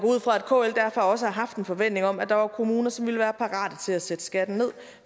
kl derfor også har haft en forventning om at der var kommuner som ville være parate til at sætte skatten ned